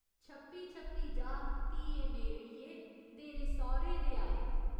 छप्पी छप्पी जा, धीए मेरड़िये तेरे सौह्‌रे दे आए।